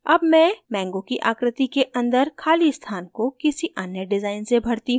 अब मैं mango की आकृति के अंदर खाली स्थान को किसी अन्य डिज़ाइन से भरती हूँ